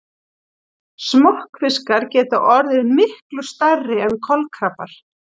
Smokkfiskar geta orðið miklu stærri en kolkrabbar.